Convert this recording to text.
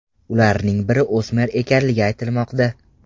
Ularning biri o‘smir ekanligi aytilmoqda.